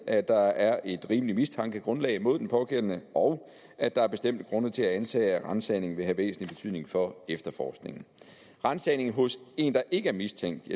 at der er et rimeligt mistankegrundlag mod den pågældende og at der er bestemte grunde til at antage at en ransagning vil have væsentlig betydning for efterforskningen ransagning hos en der ikke er mistænkt